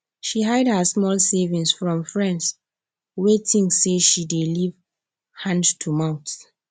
she hide her small savings from friends wey think say she dey live hand to mouth